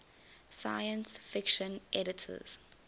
science fiction editors